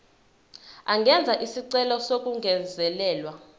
angenza isicelo sokungezelelwa